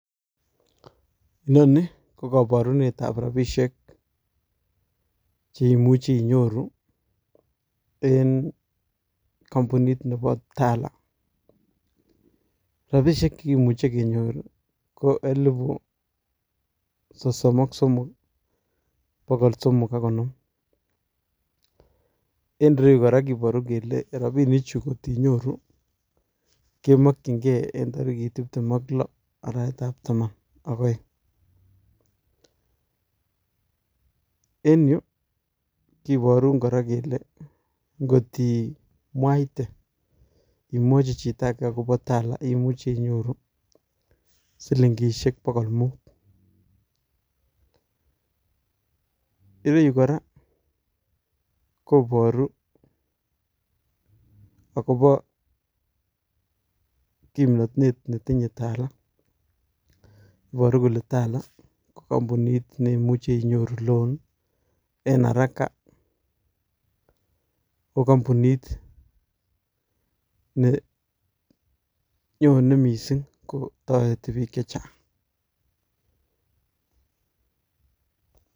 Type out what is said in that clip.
Inoni ko koborunetab rabisiek cheimuchi inyoru en kompunit Nebo Tala, rabishek chekimuche kenyor KO elipu sosom ak smoke bogol somok ak konoom. En ireyu kora kibore kele rabinichu kotinyoru kemokyingei en tarikit tiptem ak loo arawetab Taman ak oeng. En yu kiborun kora kele ngot imwaite imwochi chito Ake akobo tala imuche inyoru silingisiek bokol mut. Ireu kora koboru akobo kimnotet netinye tala, iboru kole tala ko kompunit neimuche inyorunen loan en haraka, Ko kompunit nenyone missing kotoreti bik chechang